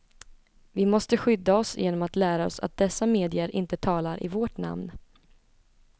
Vi måste skydda oss genom att lära oss att dessa medier inte talar i vårt namn.